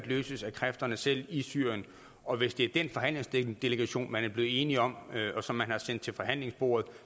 løses af kræfterne selv i syrien og hvis det er den forhandlingsdelegation man er blevet enige om og som man har sendt til forhandlingsbordet